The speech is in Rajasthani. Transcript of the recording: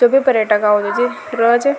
सभी पर्यटक आव छ।